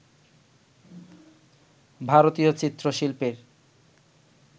ভারতীয় চিত্র-শিল্পের